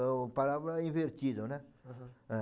O palavra é invertido, né? Aham. Eh